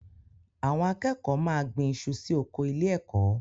Àwọn akẹ́kọ̀ọ́ máa gbin iṣu sí oko ilé-ẹ̀kọ́.